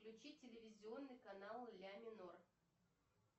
включи телевизионный канал ля минор